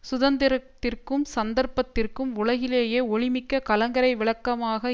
சுதந்திர திற்கும் சந்தர்ப்பத்திற்கும் உலகிலேயே ஒளிமிக்க கலங்கரை விளக்காக